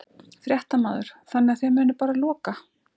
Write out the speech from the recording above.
Fréttamaður: Þannig að þið munið bara loka?